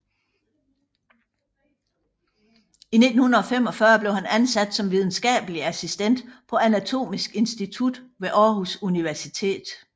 I 1945 blev han ansat som videnskabelig assistent på Anatomisk Institut ved Aarhus Universitet